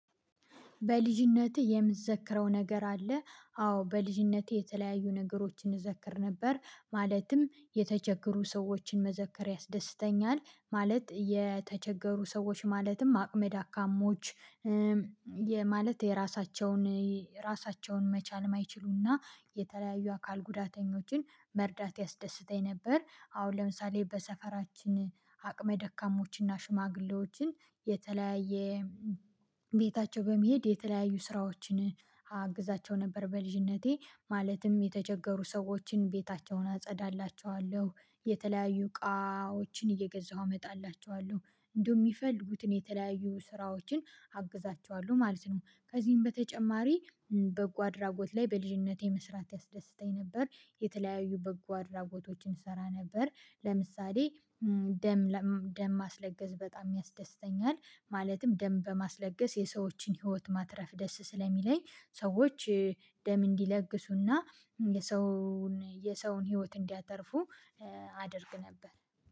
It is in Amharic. በልጅነቴ የምትዘክረው ነገር አለ? አዎ በልጅነቴ የተለያዩ ነገሮችን እዘክር ነበር ማለትም የተቸገሩ ሰዎችን መዘከር ያስደስተኛል ማለት የተቸገሩ ሰዎች ማለትም አቅመድ አካሞች ማለት የራሳቸውን ራሳቸውን መቻል የማይችሉና የተለያዩ አካል ጉዳተኞችን መርዳት ያስደስተኝ ነበር። አሁን ለምሳሌ በሰፈራችን አቅመ ደካሞችን እና ሽማግሌዎችን የተለያየ ቤታቸው በመሄድ የተለያዩ ስራዎችን አግዛቸው ነበር በልጅነቴ ማለትም የተቸገሩ ሰዎችን ቤታቸውን አጸዳላቸዋለሁ የተለያዩ እቃዎችን እየገዛሁ እመጣላቸዋለሁ እንደውም የሚፈልጉትን የተለያዩ ስራዎችን አግዛቸዋለሁ ማለት ነው። ከዚህም በተጨማሪ በጎ አድራጎት ላይ በልጅነቴ መስራት ያስደስተኝ ነበር። የተለያዩ በጎ አድራጎቶችን እሰራ ነበር። ለምሳሌ ደም ደም ማስለገስ በጣም ያስደስተኛል ማለትም ደም በማስለገስ የሰዎችን ህይወት ማትረፍ ደስ ስለሚለኝ ሰዎች ደም እንዲለግሱና የሰውን የሰውን ህይወት እንዲያተርፉ አደርግ ነበር።